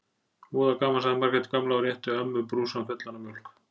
Voða gaman sagði Margrét gamla og rétti ömmu brúsann fullan af mjólk.